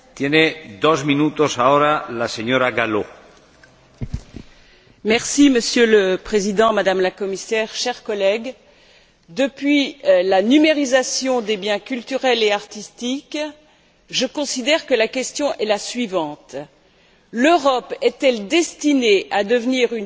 Monsieur le Président, Madame la Commissaire, chers collègues, depuis la numérisation des biens culturels et artistiques, je considère que la question est la suivante l'Europe est elle destinée à devenir une terre de consommation pour les États Unis, et bientôt les pays émergents,